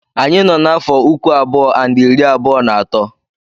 Anyị nọ n'afọ uku abụọ and iri abụọ na atọ.